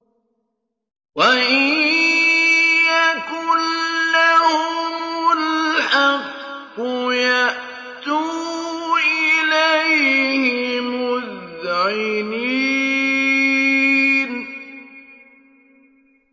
وَإِن يَكُن لَّهُمُ الْحَقُّ يَأْتُوا إِلَيْهِ مُذْعِنِينَ